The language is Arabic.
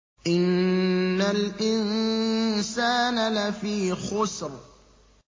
إِنَّ الْإِنسَانَ لَفِي خُسْرٍ